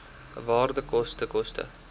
waarde koste koste